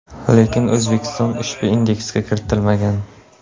Lekin O‘zbekiston ushbu indeksga kiritilmagan.